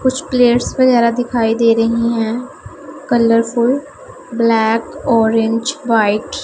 कुछ प्लेयर्स वगैरह दिखाई दे रही हैं कलरफुल ब्लैक ऑरेंज व्हाइट --